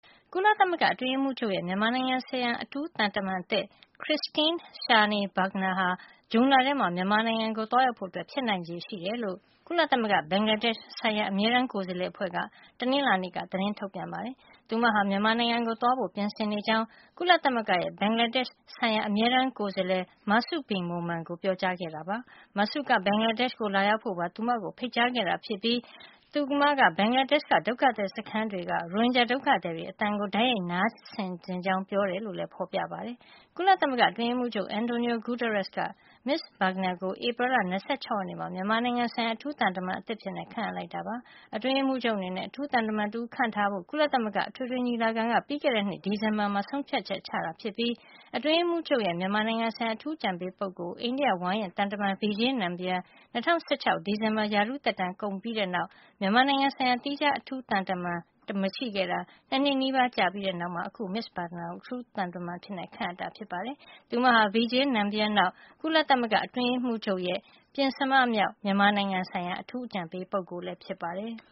ကုလသမဂ္ဂအတွင်းရေးမှူးချုပ် ရဲ့ မြန်မာနိုင်ငံဆိုင်ရာ အထူးသံတမန်အသစ် Christine Schraner Burgener ဟာ ဇွန်လထဲမှာ မြန်မာနိုင်ငံကို သွားရောက်ဖို့ ဖြစ်နိုင်ချေရှိတယ်လို့ ကုလသမဂ္ဂ ဘင်္ဂလားဒေ့ရှ်ဆိုင်ရာ အမြဲတမ်းကိုယ်စားလှယ်အဖွဲ့က တနင်္လာနေ့က သတင်းထုတ်ပြန် ပါတယ်။ မစ္စ Burgener ဟာ မြန်မာနိုင်ငံကို သွားဖို့ပြင်ဆင်နေကြောင်း ကုလသမဂ္ဂရဲ့ ဘင်္ဂလားဒေ့ရှ်ဆိုင်ရာ အမြဲတမ်းကိုယ်စားလှယ် Masud Bin Momen ကို ပြောကြားခဲ့တာဖြစ်ပါတယ်။ Masud က ဘင်္ဂလားဒေ့ရှ်ကို လာရောက်ဖို့ပါ မစ္စ Burgener ကို ဖိတ်ကြားခဲ့တာဖြစ်ပြီး မစ္စ Burgener က ဘင်္ဂလာဒေ့ရှ်က ဒုက္ခသည်စခန်းတွေက ရိုဟင်ဂျာဒုက္ခသည်တွေရဲ့ အသံကို တိုက်ရိုက်နားထောင်ချင်ကြောင်းပြောတယ်လို့ လည်း ဖေါ်ပြထားပါတယ်။ ကုလသမဂ္ဂအတွင်းရေးမှုးချုပ် Antonio Guterres က မစ္စ Burgener ကို ဧပြီလ ၂၆ ရက်နေ့မှာ မြန်မာနိုင်ငံဆိုင်ရာ အထူးသံတမန်သစ်အဖြစ် ခန့်အပ်လိုက်တာ ဖြစ်ပါတယ်။ အတွင်းရေးမှူးချုပ် အနေနဲ့ အထူးသံတမန်တဦး ခန့်ထားဖို့အတွက် ကုလသမဂ္ဂ အထွေထွေညီလာခံက ပြီးခဲ့တဲ့နှစ် ဒီဇင်ဘာလမှာ ဆုံးဖြတ်ချက်ချခဲ့တာ ဖြစ်ပြီး ကုလသမဂ္ဂအတွင်းရေးမှူးချုပ်ရဲ့ မြန်မာနိုင်ငံဆိုင်ရာ အထူးအကြံပေးပုဂ္ဂိုလ်အဖြစ် အိန္ဒိယ ဝါရင့်သံတမန် Vijay Nambiar ၂၀၁၆ ခုနှစ် ဒီဇင်ဘာလမှာ ရာထူးသက်တမ်း ကုန်ဆုံး သွားပြီးတဲ့နောက် မြန်မာနိုင်ငံဆိုင်ရာ သီးခြား အထူးသံတမန် ဒါမှမဟုတ် အထူး အကြံပေးပုဂ္ဂိုလ်တဦးဦး မရှိခဲ့တာ နှစ်နှစ်နီးပါး ကြာပြီးတဲ့နောက်မှာမှ အခု မစ္စ Burgener ကို အထူးသံတမန်အဖြစ် ခန့်ထားခဲ့တာဖြစ်ပါတယ်။ မစ္စ Burgener ဟာ ကုလသမဂ္ဂ အတွင်းရေးမှုးချုပ်ရဲ့ ပဉ္စမမြောက် မြန်မာနိုင်ငံဆိုင်ရာ အထူးအကြံပေး ပုဂ္ဂိုလ်ဖြစ်ပါတယ်။